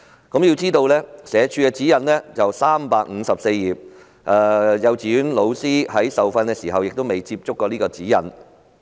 須知道，社署的指引厚達354頁，幼稚園教師在受訓時也未有接觸過這本指引。